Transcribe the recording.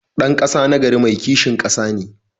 Dan kasa nagari mai kishin kasa ne.